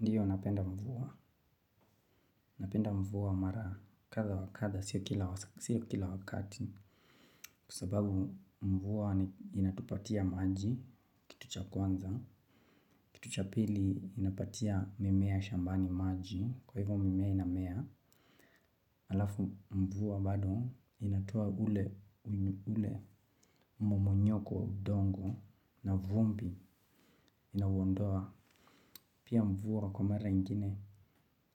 Ndiyo napenda mvua, napenda mvua mara kadha wa kadha, sio kila wakati. Kwa sababu mvua inatupatia maji, kitu cha kwanza. Kitu cha pili inapatia mimea shambani maji, kwa hivyo mimea inamea. Alafu mvua bado inatoa ule mmomonyoko wa udongo na vumbi inauondoa. Pia mvua kwa mara nyingine